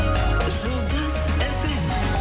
жұлдыз фм